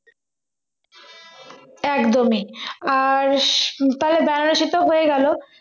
একদমই আর তাহলে বেনারসিটা হয়ে গেল